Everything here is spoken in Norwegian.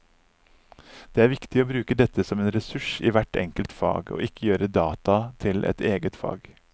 Det er viktig å bruke dette som en ressurs i hvert enkelt fag, og ikke gjøre data til et eget fag.